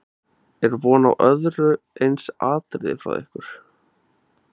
Er von á öðru eins atriði frá ykkur?